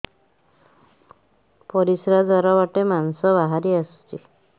ପରିଶ୍ରା ଦ୍ୱାର ବାଟେ ମାଂସ ବାହାରି ଆସୁଛି